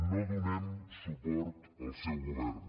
no donem suport al seu govern